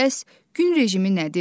Bəs gün rejimi nədir?